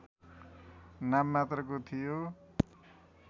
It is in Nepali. नाम मात्रको थियो